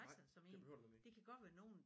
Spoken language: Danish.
Nej det behøver det nemlig ikke